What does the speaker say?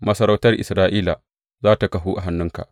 Masarautar Isra’ila za tă kahu a hannunka.